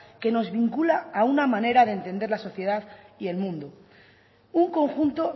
que nos vincula a una manera de entender la sociedad y el mundo un conjunto